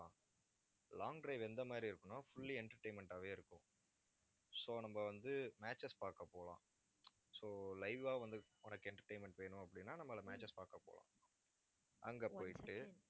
long drive எந்த மாதிரி இருக்குன்னா fully entertainment ஆவே இருக்கும். so நம்ம வந்து matches பார்க்க போகலாம் so live ஆ வந்து, உனக்கு entertainment வேணும் அப்படின்னா, நம்ம அதுல matches பார்க்க போகலாம் அங்க போயிட்டு